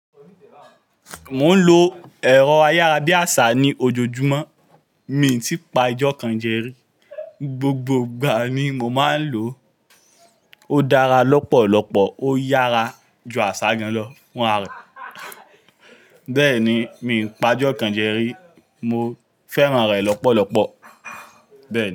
Mò ń lo ẹ̀rọ ayára bí àsá ní ojojúmọ́, mi n tí pa ojọkàn jẹ rí. Gbogbo ìgbà ni mo máa ń lò ó. Ó dára lọ́pọ̀lọpọ̀, ó yára ju àsá gan lọ, fun ará rẹ̀. Bẹ́ẹ̀ni, mi ò pa ojọkàn jẹrí, mo fẹ́ràn rẹ̀ lọ́pọ̀lọpọ̀ bẹ́ẹ̀ ni.